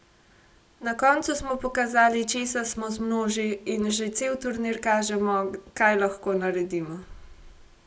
Na koncu smo pokazali, česa smo zmnoži, in že cel turnir kažemo, kaj lahko naredimo.